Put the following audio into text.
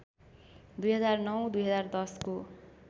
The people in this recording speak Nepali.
२००९ २०१० को